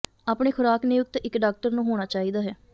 ਆਪਣੇ ਖੁਰਾਕ ਨਿਯੁਕਤ ਇੱਕ ਡਾਕਟਰ ਨੂੰ ਹੋਣਾ ਚਾਹੀਦਾ ਹੈ